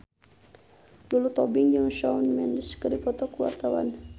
Lulu Tobing jeung Shawn Mendes keur dipoto ku wartawan